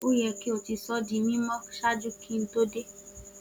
o yẹ ki o ti sọ di mimọ ṣaaju ki Mo to de!